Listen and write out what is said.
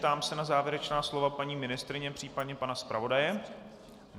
Ptám se na závěrečná slova paní ministryně, případně pana zpravodaje?